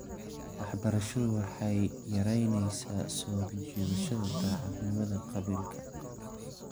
Waxbarashadu waxay yaraynaysaa soo jiidashada daacadnimada qabiilka .